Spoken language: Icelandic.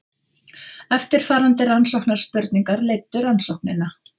Eftirfarandi rannsóknarspurningar leiddu rannsóknina.